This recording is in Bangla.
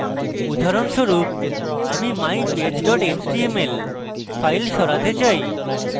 উদাহরণস্বরূপ আমি mypage html file সরাতে say